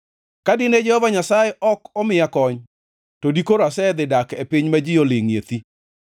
Ka dine Jehova Nyasaye ok omiya kony, to dikoro asedhi dak e piny ma ji olingʼe thi.